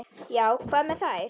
Já, hvað með þær?